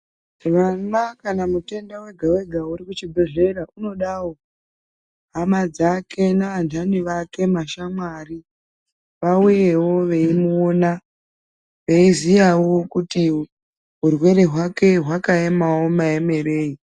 Vana kana mutenda wega wega uri kuchi bhedhlera unodawo hama dzake ne andani vake mashamwari vauyewo veimu ona veiziyawo kuti urwere hwake hwakaemawo maemereyi.